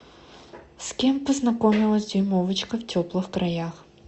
с кем познакомилась дюймовочка в теплых краях